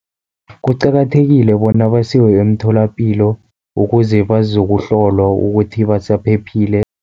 Kuqakathekile bona basiwe emtholapilo, ukuze bazokuhlolwa ukuthi basaphephile.